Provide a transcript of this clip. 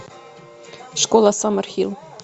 школа саммерхилл